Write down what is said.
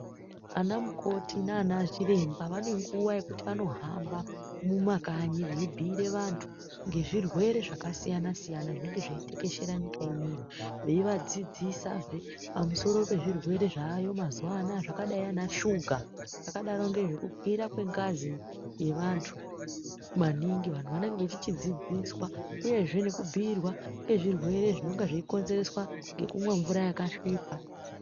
Ana mukoti nanachiremba ane nguwa yekuti anohamba mumakanyi veibhire vantu nge zvirwere zvakasiyana siyana zvinenge zveitekeshera nyika inei veivadzidzisazve pamusoro pezvirwere zvayo mazuva anaya zvakadai ana shuga akadaro nezve kukwira kwengazi yevantu mwaningi vantu vanenge vachichidzidziswa uyezve nekubhuyirwa nge zvirwere zvinenge zvichikonzerwa nekumwe mvura yakasvipa.